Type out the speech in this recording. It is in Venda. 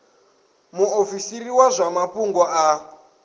muofisiri wa zwa mafhungo a